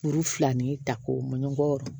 Kuru fila ni ta k'o mɔn ɲɔgɔn